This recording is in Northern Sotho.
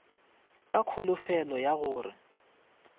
ka kholofelo ya go re